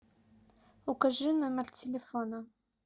укажи номер телефона